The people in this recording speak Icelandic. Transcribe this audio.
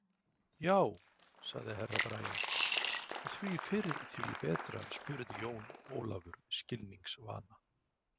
Já, sagði Herra Brian, og því fyrr því betra spurði Jón Ólafur skilningsvana.